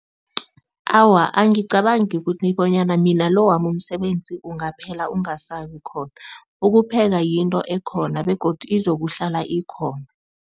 Awa, angicabangi kuthi bonyana mina lo wami umsebenzi ungaphela, ungasabi khona. Ukupheka yinto ekhona begodu izokuhlala ikhona.